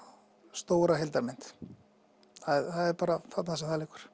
stóra heildarmynd það er bara þarna sem það liggur